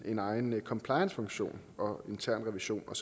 en egen compliancefunktion og intern revision og